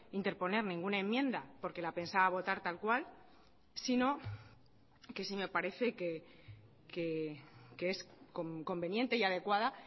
interponer ninguna enmienda porque la pensaba votar tal cual sino que sí me parece que es conveniente y adecuada